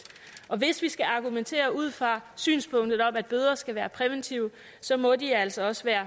og hvis vi skal argumentere ud fra synspunktet om at bøder skal være præventive så må de altså også være